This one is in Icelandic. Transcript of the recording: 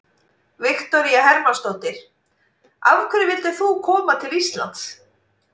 Viktoría Hermannsdóttir: Af hverju vildir þú koma til Íslands?